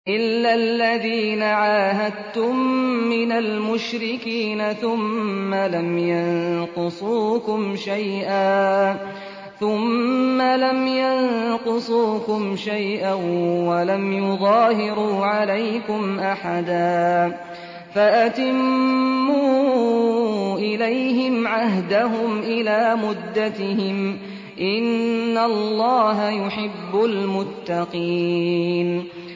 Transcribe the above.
إِلَّا الَّذِينَ عَاهَدتُّم مِّنَ الْمُشْرِكِينَ ثُمَّ لَمْ يَنقُصُوكُمْ شَيْئًا وَلَمْ يُظَاهِرُوا عَلَيْكُمْ أَحَدًا فَأَتِمُّوا إِلَيْهِمْ عَهْدَهُمْ إِلَىٰ مُدَّتِهِمْ ۚ إِنَّ اللَّهَ يُحِبُّ الْمُتَّقِينَ